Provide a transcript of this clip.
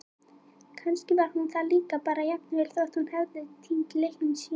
Kannski var hún það líka bara- jafnvel þótt hún hefði týnt lyklunum sínum.